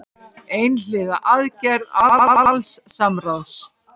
Einhliða aðgerð án alls samráðs